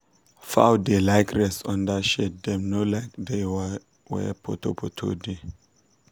fowl da like rest under shade dem no like da wer wer poto poto da